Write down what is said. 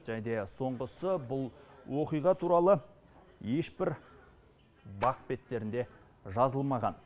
және де соңғысы бұл оқиға туралы ешбір бақ беттерінде жазылмаған